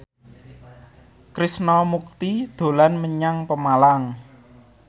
Krishna Mukti dolan menyang Pemalang